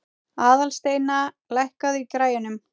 Aðalsteina, lækkaðu í græjunum.